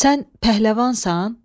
Sən pəhləvansan?